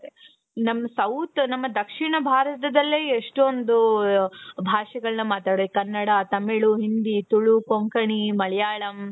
ನಮ್ south ದಕ್ಷಿಣ ಭಾರತದಲ್ಲೇ ಎಷ್ಟೊಂದು ಭಾಷೆಗಳನ್ನ ಮಾತಾಡೋದು ಕನ್ನಡ ತಮಿಳು ಹಿಂದಿ ತುಳು ಕೊಂಕಣಿ ಮಲಯಾಳಂ.